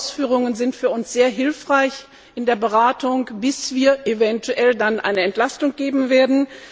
Die Ausführungen sind für uns sehr hilfreich in der Beratung, bis wir dann eventuell eine Entlastung erteilen werden.